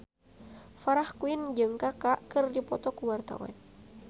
Farah Quinn jeung Kaka keur dipoto ku wartawan